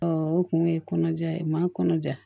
o kun ye kɔnɔja ye maa kɔnɔja